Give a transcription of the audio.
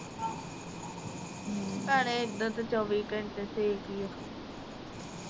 ਭੈਣੇ ਇਧਰ ਤਾ ਚੌਵੀ ਘੰਟੇ ਸੇਕ ਹੀ ਆ